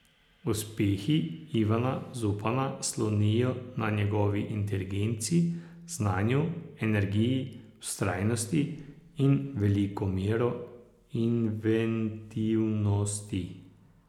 Uspehi Ivana Zupana slonijo na njegovi inteligenci, znanju, energiji, vztrajnosti in veliko mero inventivnosti.